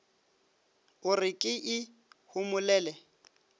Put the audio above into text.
o re ke e homolele